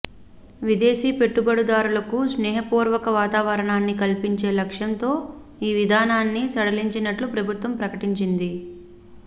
విదేశీ పెట్టుబడిదారులకు స్నేహపూర్వక వాతావరణాన్ని కల్పించే లక్ష్యంతో ఈ విధానాన్ని సడలించినట్లు ప్రభుత్వం ప్రకటించింది